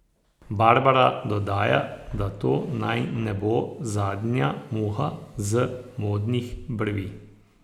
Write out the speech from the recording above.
Barbara dodaja, da to naj ne bo zadnja muha z modnih brvi.